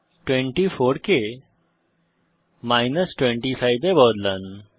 24 কে মাইনাস 25 এ বদলান